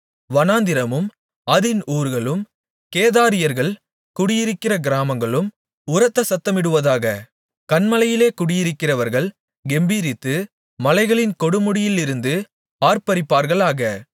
வனாந்திரமும் அதின் ஊர்களும் கேதாரியர்கள் குடியிருக்கிற கிராமங்களும் உரத்த சத்தமிடுவதாக கன்மலைகளிலே குடியிருக்கிறவர்கள் கெம்பீரித்து மலைகளின் கொடுமுடியிலிருந்து ஆர்ப்பரிப்பார்களாக